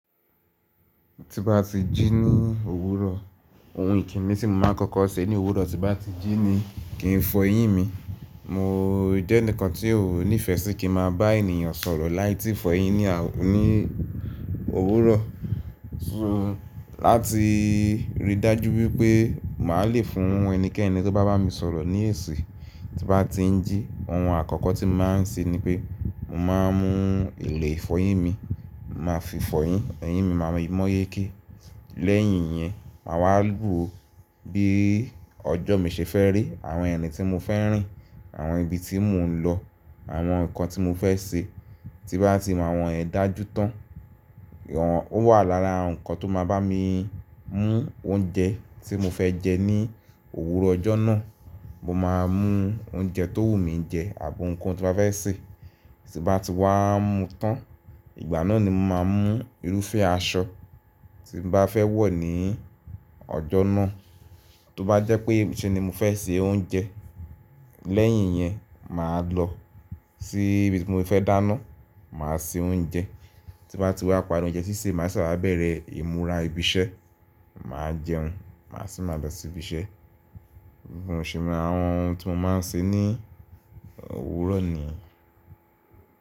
Ti bá ti jí ní òwúrọ̀ ohun ìkíni tí mo máa kọ́kọ́ ṣe ní òwúrọ̀ tí bá ti jí ni, kí ń fọyín mi. Mọ̀ jẹ́ ẹǹkan tí ò nífẹ̀ẹ́ sí kí n máa bá ènìyàn sọ̀rọ̀ láì tíi fọyín ní òwúrọ̀. Láti ri dájú pé màá lè fún ẹnikẹ́ni tó bá bá mi sọ̀rọ̀ ní èsì tí bá ti ń jí. Ohun àkọ́kọ́ tí máa ń ṣe ni pé, mo máa ń mú ilè fọyín mi, máa fi fọyín, eyín mi máa mọ́yéké. Lẹ́yìn iyẹn màá wá wo bí ọjọ́ mi ṣe fẹ́ rí, àwọn irin tí mo fẹ́ rìn, àwọn ibi tí mò ń lọ, àwọn nǹkan tí mo fẹ́ ṣe. Ti bá ti mo àwọn iyen dájú tán. Ó wà lára nǹkan tó máa bá mi mú oúnjẹ tí mo fẹ́ jẹ ní òwúrọ̀ ọjọ́ náà. Mo máa mú oúnjẹ tó wù mí jẹ àbi ounkoun tí n ba fẹ́ ṣe. Ti bá ti wá mu tán, ìgbà náà ni mo máa mú irúfẹ́ aṣọ tí mo bá fẹ́ wọ̀ ní ọjọ́ náà. Tó bá jẹ́ pé niṣẹ́ ni mo fẹ́ ṣe oúnjẹ, lẹ́yìn yẹn màá lọ sí ibi tí mo fẹ́ dáná, màá ṣe oúnjẹ. Ti bá ti wá parí oúnjẹ siṣe, màá ṣe wa bẹ̀rẹ̀ ìmúrà ìbíṣẹ́, màá jẹun, màá sì máa lọ sí ibiṣẹ́. Bi mo ṣẹ́ maa un ohun tí mo máa ń ṣe ní òwúrọ̀ ni.